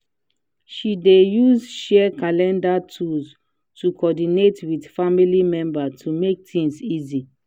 she dey use shared calender tools to coordinate with family members to make things easy.